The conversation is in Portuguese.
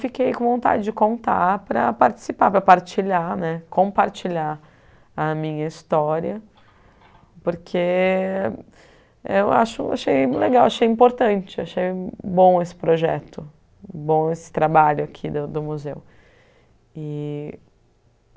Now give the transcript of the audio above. Fiquei com vontade de contar para participar, para partilhar né, compartilhar a minha história, porque acho achei legal, achei importante, achei bom esse projeto, bom esse trabalho aqui do museu. E